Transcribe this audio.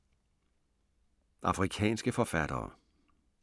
Afrikanske forfattere